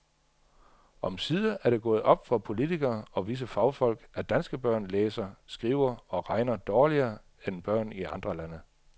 Omsider er det gået op for politikere og visse fagfolk, at danske børn læser, skriver og regner dårligere end børn i andre lande.